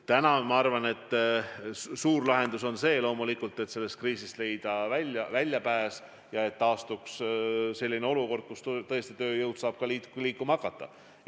Täna ma arvan, et suur lahendus on loomulikult, et sellest kriisist tuleb leida väljapääs ja et taastuks selline olukord, kus tõesti tööjõud saab ka liikuma hakata.